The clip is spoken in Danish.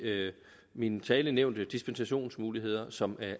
min tale nævnte dispensationsmuligheder som